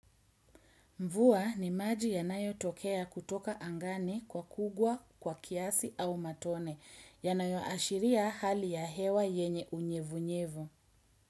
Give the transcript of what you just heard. Mvua ni maji yanayotokea kutoka angani kwa kugwa, kwa kiasi au matone, yanayoashiria hali ya hewa yenye unyevunyevu.